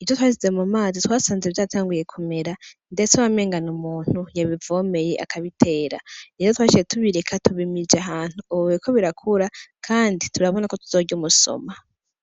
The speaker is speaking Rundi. ivyo twashize mu mazi twasanze vyatanguye kumera, ndetse abamengana umuntu yabivomeye akabitera nezo twashije tubireka tubimije ahantu ubweko birakura, kandi turabona ko tuzorya umusoma.